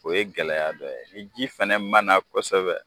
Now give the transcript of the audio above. O ye gɛlɛya dɔ ye ni ji fana ma na kosɛbɛ.